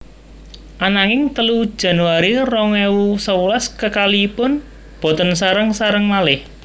Ananging telu Januari rong ewu sewelas kekalihipun boten sareng sareng malih